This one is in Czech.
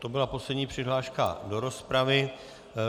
To byla poslední přihláška do rozpravy.